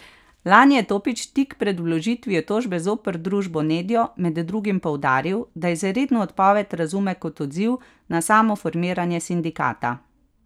Lani je Topić tik pred vložitvijo tožbe zoper družbo Nedjo med drugim poudaril, da izredno odpoved razume kot odziv na samo formiranje sindikata.